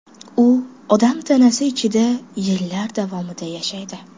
U odam tanasi ichida yillar davomida yashaydi.